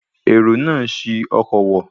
Èrò náà ṣi ọkọ̀ wọ̀